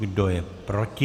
Kdo je proti?